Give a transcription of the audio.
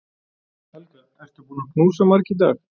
Helga: Ertu búin að knúsa marga í dag?